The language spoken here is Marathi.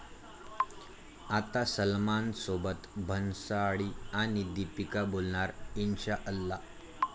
आता सलमानसोबत भन्साळी आणि दीपिका बोलणार 'इन्शाअल्लाह'